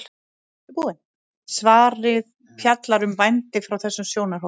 svarið fjallar um vændi frá þessum sjónarhóli